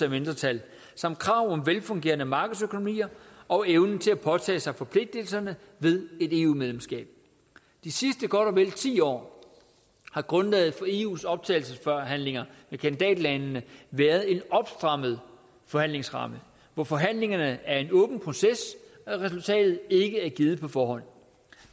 af mindretal samt krav om velfungerende markedsøkonomier og evnen til at påtage sig forpligtelserne ved et eu medlemskab de sidste godt og vel ti år har grundlaget for eus optagelsesforhandlinger med kandidatlandene været en opstrammet forhandlingsramme hvor forhandlingerne er en åben proces og resultatet ikke er givet på forhånd